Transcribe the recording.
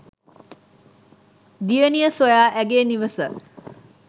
දියණිය සොයා ඇගේ නිවස